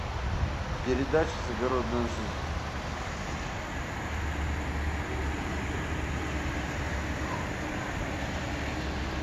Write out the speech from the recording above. передача загородная жизнь